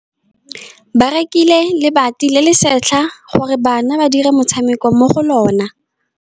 Ba rekile lebati le le setlha gore bana ba dire motshameko mo go lona.